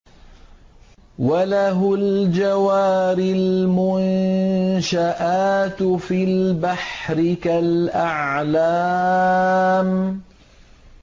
وَلَهُ الْجَوَارِ الْمُنشَآتُ فِي الْبَحْرِ كَالْأَعْلَامِ